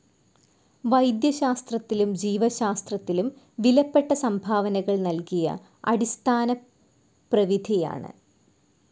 വൈദ്യശാസ്ത്രത്തിലും ജീവശാസ്ത്രത്തിലും വിലപ്പെട്ട സംഭാവനകൾ നൽകിയ അടിസ്ഥാനപ്രവിധിയാണ്.